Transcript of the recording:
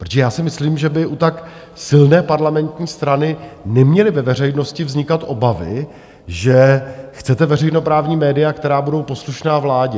Protože já si myslím, že by u tak silné parlamentní strany neměly ve veřejnosti vznikat obavy, že chcete veřejnoprávní média, která budou poslušná vládě.